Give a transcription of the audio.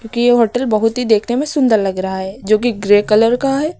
कि ये होटल बहुत ही देखने में सुंदर लग रहा है जो की ग्रे कलर का है।